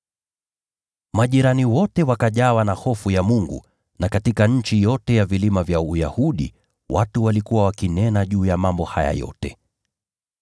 Majirani wote wakajawa na hofu ya Mungu, na katika nchi yote ya vilima vya Uyahudi watu walikuwa wakinena juu ya mambo haya yote.